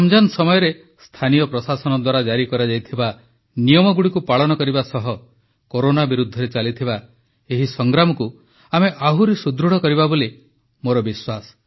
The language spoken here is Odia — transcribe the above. ରମଜାନ ସମୟରେ ସ୍ଥାନୀୟ ପ୍ରଶାସନ ଦ୍ୱାରା ଜାରି କରାଯାଇଥିବା ନିୟମଗୁଡ଼ିକୁ ପାଳନ କରିବା ସହ କୋରୋନା ବିରୁଦ୍ଧରେ ଚାଲିଥିବା ଏହି ସଂଗ୍ରାମକୁ ଆମେ ଆହୁରି ସୁଦୃଢ଼ କରିବା ବୋଲି ମୋର ବିଶ୍ୱାସ